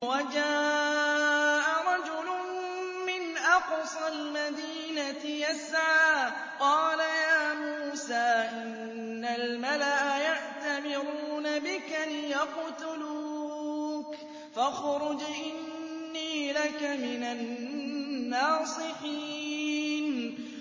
وَجَاءَ رَجُلٌ مِّنْ أَقْصَى الْمَدِينَةِ يَسْعَىٰ قَالَ يَا مُوسَىٰ إِنَّ الْمَلَأَ يَأْتَمِرُونَ بِكَ لِيَقْتُلُوكَ فَاخْرُجْ إِنِّي لَكَ مِنَ النَّاصِحِينَ